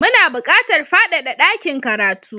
Muna buƙatar fadada dakin karatu